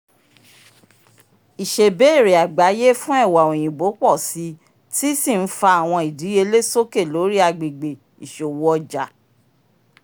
ìsebéèrè àgbáyé fún ẹwà-òyìnbó pọ si ti n sí n fà awọn ìdíyelé sókè lori agbègbè ìṣòwò ọjà